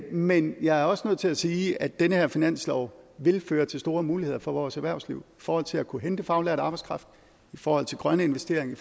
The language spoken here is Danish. men jeg er også nødt til at sige at den her finanslov vil føre til store muligheder for vores erhvervsliv forhold til at kunne hente faglært arbejdskraft i forhold til grønne investeringer